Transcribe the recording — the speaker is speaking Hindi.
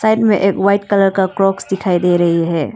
एक वाइट कलर का क्रॉक्स दिखाई दे रही है।